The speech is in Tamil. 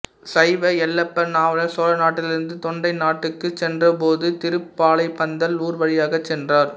சைவ எல்லப்ப நாவலர் சோழநாட்டிலிருந்து தொண்டை நாட்டுக்குச் சென்றபோது திருப்பாலைப்பந்தல் ஊர் வழியாகச் சென்றார்